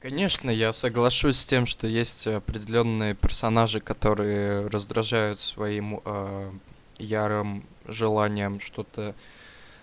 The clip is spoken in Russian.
конечно я соглашусь с тем что есть определённые персонажи которые раздражают своим ярым желанием что-то